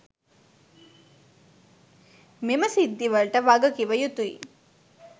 මෙම සිද්ධිවලට වගකිවයුතුයි